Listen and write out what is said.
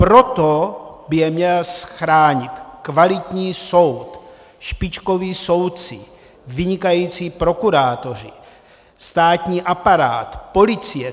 Proto by je měl chránit kvalitní soud, špičkoví soudci, vynikající prokurátoři, státní aparát, policie.